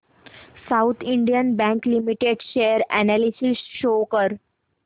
south Indian Bank Limited share analysis show कर